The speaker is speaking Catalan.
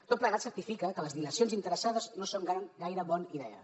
tot plegat certifica que les dilacions interessades no són gaire bona idea